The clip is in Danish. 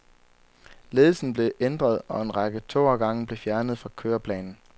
Ledelsen blev ændret, og en række togafgange blev fjernet fra køreplanen.